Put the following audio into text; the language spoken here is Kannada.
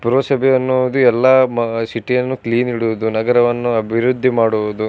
ಪುರಸಭೆಯನ್ನು ಹೋಗಿ ಎಲ್ಲ ಮ ಸಿಟಿ ಯನ್ನು ಕ್ಲೀನ್ ಇಡುವುದು ನಗರವನ್ನು ಅಭಿವೃದ್ಧಿ ಮಾಡುವುದು.